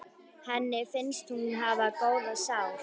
Henni finnst hún hafa góða sál.